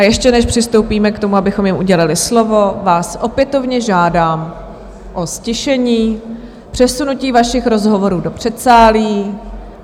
A ještě než přistoupíme k tomu, abychom jim udělili slovo, vás opětovně žádám o ztišení, přesunutí vašich rozhovorů do předsálí.